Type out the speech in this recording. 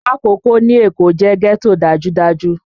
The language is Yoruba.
Makoko ní Èkó jẹ́ ghetto dájúdájú